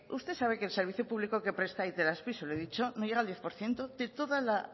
usted sabe que el servicio público que presta itelazpi se lo he dicho no llega al diez por ciento de toda la